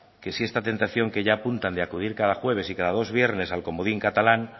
que si esta tentación que ya apuntan de acudir cada jueves y cado dos viernes al comodín catalán